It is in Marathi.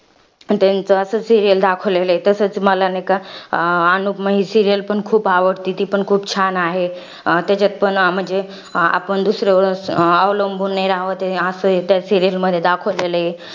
त्याचं असंच serial दाखवलेलं आहे. तसच मला नाही का, अनुपमा ही serial पण खूप आवडती. ती पण खूप छान आहे. अं त्याच्यात पण म्हणजे, आपण दुसऱ्यावर अवलंबून नाही राहावं, ते असं आहे त्या serial मध्ये दाखवलेलं आहे.